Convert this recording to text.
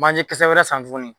Manjekisɛ wɛrɛ san tuguni